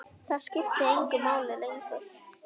Það skiptir engu máli lengur.